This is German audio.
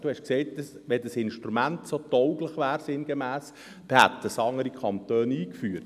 – Sie haben sinngemäss gesagt, dass wenn das Instrument tauglich wäre, dann hätten es andere Kantone eingeführt.